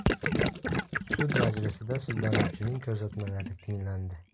Sud majlisida sudlanuvchilarning ko‘rsatmalari tinglandi.